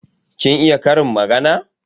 Kin iya ƙarin magana?